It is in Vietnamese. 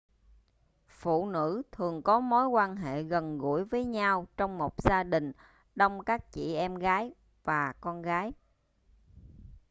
phụ nữ thường có mối quan hệ gần gũi với nhau trong một gia đình đông các chị em gái và con gái